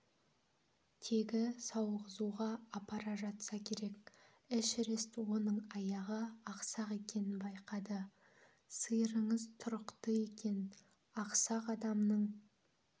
тегі сауғызуға апара жатса керек эшерест оның аяғы ақсақ екенін байқады сиырыңыз тұрықты екен ақсақ адамның